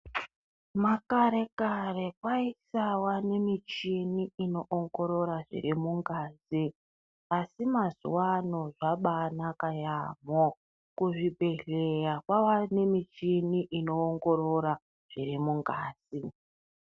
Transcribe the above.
Makare-kare kwaisava nemichini inoongorora zviri mungazi, asi mazuwaano zvabaanaka yaamho. Kuzvibhedhlera kwava nemichini inoongorora, zviri mungazi .